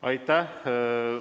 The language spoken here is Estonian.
Aitäh!